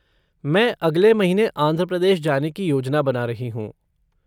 मैं अगले महीने आंध्र प्रदेश जाने की योजना बना रही हूँ।